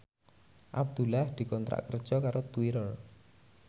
Abdullah dikontrak kerja karo Twitter